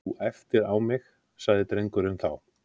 Þú æptir á mig- sagði drengurinn þá.